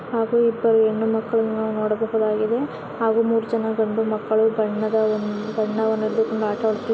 ಹಾಗೂ ಎರಡು ಹೆಣ್ಣು ಮಕ್ಕಳನ್ನು ನೋಡಬಹುದು ಆಗಿದೆ ಹಾಗೂ ಮೂರು ಜನ ಗಂಡು ಮಕ್ಕಳು ಬಣ್ಣ- ಬಣ್ಣದ--